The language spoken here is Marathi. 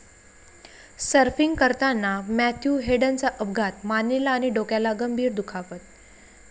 सर्फिंग करताना मॅथ्यू हेडनचा अपघात, मानेला आणि डोक्याला गंभीर दुखापत